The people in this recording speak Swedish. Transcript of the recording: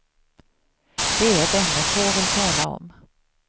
Det är ett ämne få vill tala om.